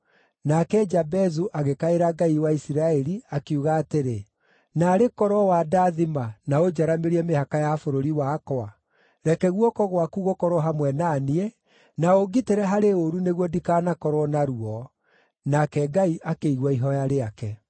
Nake Jabezu agĩkaĩra Ngai wa Isiraeli, akiuga atĩrĩ, “Naarĩ korwo wandathima na ũnjaramĩrie mĩhaka ya bũrũri wakwa! Reke guoko gwaku gũkorwo hamwe na niĩ, na ũngitĩre harĩ ũũru nĩguo ndikanakorwo na ruo.” Nake Ngai akĩigua ihooya rĩake.